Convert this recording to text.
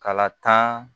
Kala tan